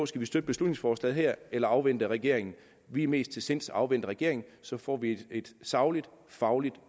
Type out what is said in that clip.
skal støtte beslutningsforslaget her eller afvente regeringen vi er mest til sinds at afvente regeringen så får vi et sagligt fagligt